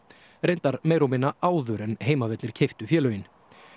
reyndar meira og minna áður en Heimavellir keyptu félögin